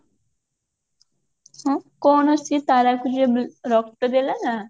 ହୁଁ କଣ ସେ ତାରକୁ ଯେ ରକ୍ତ ଦେଲା ନା